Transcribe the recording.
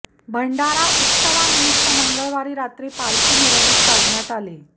भंडारा उत्सवानिमित्त मंगळवारी रात्री पालखी मिरवणूक काढण्यात आली